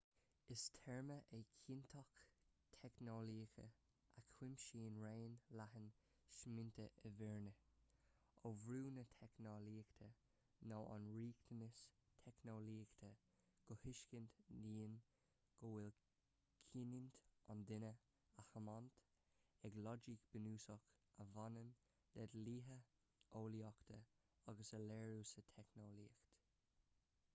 is téarma é cinnteacht theicneolaíoch a chuimsíonn raon leathan smaointe i bhfírinne ó bhrú na teicneolaíochta nó an riachtanas teicneolaíochta go tuiscint dhian go bhfuil cinniúint an duine á tiomáint ag loighic bhunúsach a bhaineann le dlíthe eolaíochta agus a léiriú sa teicneolaíocht